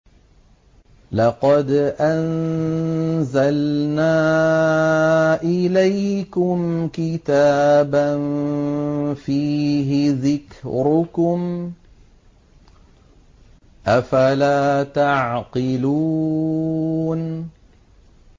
لَقَدْ أَنزَلْنَا إِلَيْكُمْ كِتَابًا فِيهِ ذِكْرُكُمْ ۖ أَفَلَا تَعْقِلُونَ